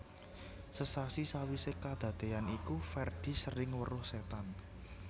Sesasi sawisé kadadean iku Ferdi sering weruh setan